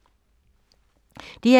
DR2